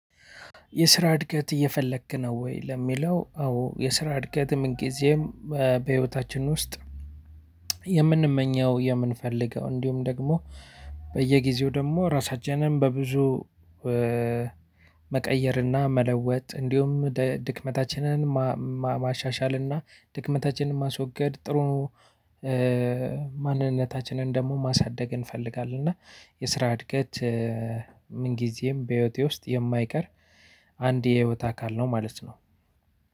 የስራ እድገት እየፈለክ ነው ወይ? ለሚለው አዎ የስራ እድገት ምንግዜም በህይወታችን ውስጥ የምንመኘው የምንፈልገው እንዲሁም ደግሞ በየጊዜው ደግሞ ራሳችንን በብዙ መቀየር እና መለወጥ እንዲሁም ድክመታችንን ማሻሻል እና ድክመታችንን ማስወገድ ጥሩ ማንነታችንን ደግሞ ማሳደግ እንፈልጋለን እና የስራ እድገት ምን ጊዜም በህይወቴ ውስጥ የማይቀር አንድ የህይወት አካል ነው ማለት ነው።